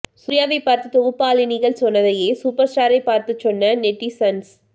சூர்யாவை பார்த்து தொகுப்பாளினிகள் சொன்னதையே சூப்பர் ஸ்டாரை பார்த்து சொன்ன நெட்டிசன்ஸ்